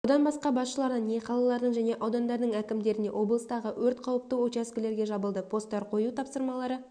одан басқа басшыларына не қалалардың және аудандардың әкімдеріне облыстағы өрт қауіпті учаскелерге жабылды посттар қою тапсырмалары